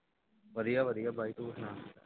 ਵਧੀਆ ਵਧੀਆ ਭਾਜੀ ਤੁਸੀਂ ਸੁਣਾਓ